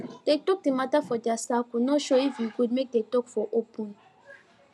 dem talk the matter for their circle no sure if e good make dem talk for open